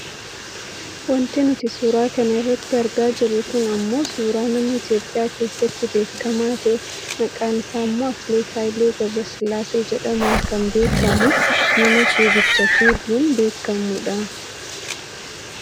Wanti nuti suura kana irratti argaa jirru kun ammoo suuraa nama Itoopiyaa keessatti beekkama ta'ee maqaan isaa ammoo Atileet Haile Gabresollaasee jedhamuun kan beekkamudha . Nama fiigicha fiiguun beekkamu dha.